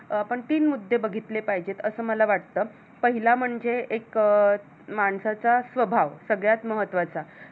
अं आपण तीन मुद्दे बघितले पाहिजेत असं मला वाटत पहिला म्हणजे एक माणसाचा स्वभाव सगळ्यात महत्वाचा